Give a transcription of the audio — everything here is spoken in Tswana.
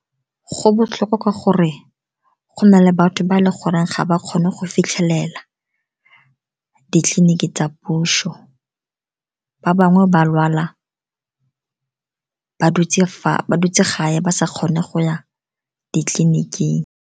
Go botlhokwa ka gore go na le batho ba eleng gore ga ba kgone go fitlhelela ditleliniki tsa puso. Ba bangwe ba lwala ba dutse gae, ba sa kgone go ya ditleliniking.